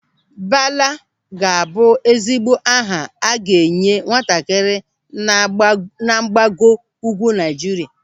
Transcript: Bala ga-abụ ezigbo aha a ga-enye nwatakịrị na mgbago ugwu Naịjirịa.